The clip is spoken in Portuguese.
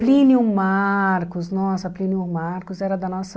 Plínio Marcos, nossa, Plínio Marcos era da nossa...